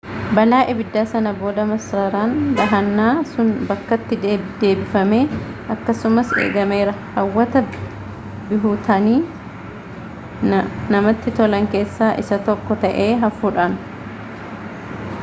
balaa ibiddaa sana booda masaraan dahannaa sun bakkatti deebifamee akkasumas eegameera hawwata bihutaanii namatti tolan keessa isa tokko ta'ee hafuudhaan